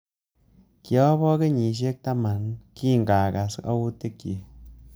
Kiobo kenyisiek taman kingakas autik chik